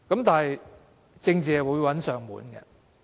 但是，政治會找上門來。